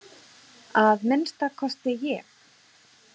Að minnsta kosti ég.